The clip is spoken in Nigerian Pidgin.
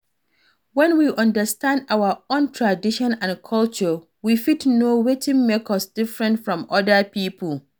When we understand our own tradition and culture we fit know wetin make us different from oda pipo